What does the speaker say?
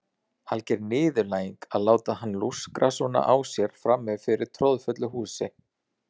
Alger niðurlæging að láta hann lúskra svona á sér frammi fyrir troðfullu húsi.